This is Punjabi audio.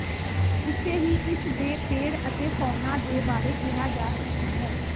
ਉਸੇ ਹੀ ਇਸ ਦੇ ਪੇੜ ਅਤੇ ਫੌਨਾ ਦੇ ਬਾਰੇ ਕਿਹਾ ਜਾ ਸਕਦਾ ਹੈ